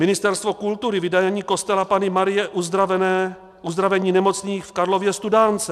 Ministerstvo kultury - vydání kostela Panny Marie Uzdravení nemocných v Karlově Studánce.